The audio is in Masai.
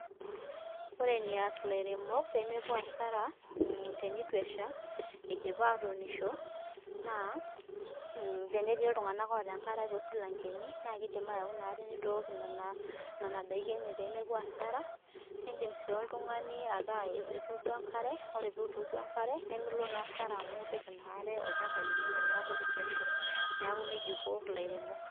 Ore enias ilairemok pemepuo asara tenitu esha idipa atuunisho, naa, tenetii iltung'anak oota enkare tosilankeni, na kidim au inaare nitook nena daiki enye pemepuo asara, nidim si oltung'ani ataa ituuduo enkare, ore pituduo enkare nimilo na asara amu ipik inaare olchamba lino teneeku itu esha. Neeku nejia iko ilairemok.